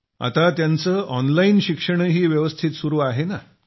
आता त्यांचं ऑनलाइन शिक्षणही व्यवस्थित सुरू आहे ना